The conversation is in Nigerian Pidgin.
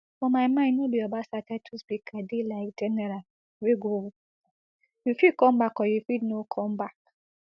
for my mind no be obasa title speaker dey like general wey go war you fit come back or you fit no come back